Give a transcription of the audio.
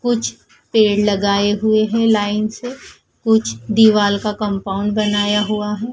कुछ पेड़ लगाए हुए हैं लाइन से कुछ दीवाल का कंपाउंड बनाया हुआ है।